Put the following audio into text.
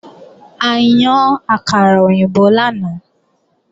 A yan àkàrà òyìnbó lánàá